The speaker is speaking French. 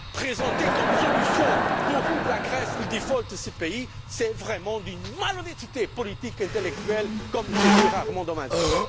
Présenter comme solution pour la Grèce le default de ce pays, c'est vraiment d'une malhonnêteté politique et intellectuelle, comme j'ai rarement vu dans ma vie.